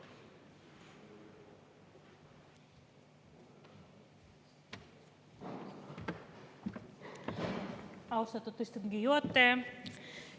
Austatud istungi juhataja!